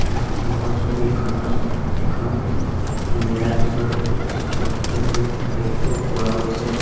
সন্মুখৰ ছবিখনত এখন ন নীলা টুলত বহুতো ছাত্ৰ ছাত্ৰী বহি থকা দেখিব পোৱা গৈছে।